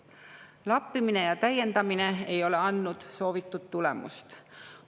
Lappimine ja täiendamine ei ole andnud soovitud tulemust.